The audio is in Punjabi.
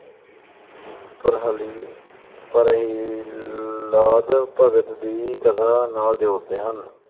ਪ੍ਰਹਾਲੀ ਪ੍ਰਹਿ ਅਹ ਭਗਤ ਦੀ ਕਥਾ ਨਾਲ ਜੋੜਦੇ ਹਨ ।